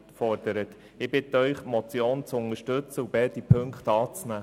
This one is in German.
Ich bitte Sie, die Motion zu unterstützen und beide Ziffern anzunehmen.